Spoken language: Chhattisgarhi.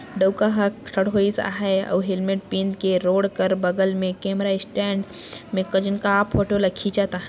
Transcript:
डौका आहै और हेलमेट पिन के रोड बगल में कैमरा स्टैंड में को जन का फोटो खींचत आहै|